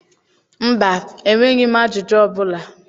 Mba, enweghị m ajụjụ ọ bụla.